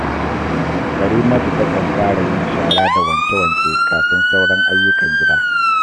Karimatu takan fara yin shara da wanke-wanke kafin sauran ayyukan gida